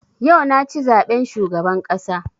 Yau na ci zaben shugaban ƙasa